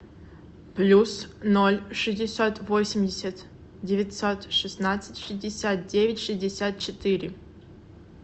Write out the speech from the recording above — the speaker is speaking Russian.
плюс ноль шестьдесят восемьдесят девятьсот шестнадцать шестьдесят девять шестьдесят четыре